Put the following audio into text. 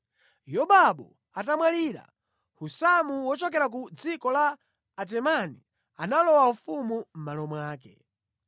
Yobabu atamwalira, Husamu wochokera ku dziko la Atemani, analowa ufumu mʼmalo mwake.